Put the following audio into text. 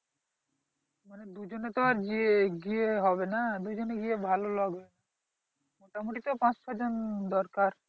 মানে দুজনে তো আর গিয়ে হবে না দুজনে গিয়ে ভালো লাগে মোটামুটি তো পাঁচ ছয় জন দরকার